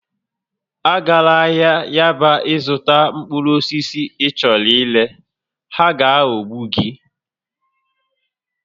Agala ahịa Yaba ịzụta mkpụrụ osisi ị chọrọ ire, ha ga-aghọgbu gị!